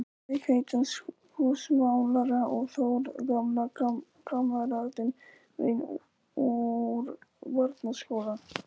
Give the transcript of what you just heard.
Hauks heitins húsamálara og Þórð, gamla kammeratinn minn úr barnaskóla.